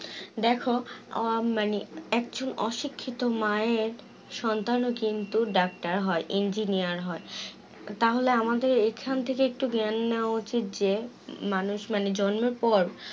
দেখো আহ মানে একচুল অশিক্ষিত মায়ের সন্তানও কিন্তু doctor হয় engineer হয় তাহলে আমাদের এখান থেকে একটু জ্ঞান নেওয়া উচিত যে মানুষ মানে জন্মের পর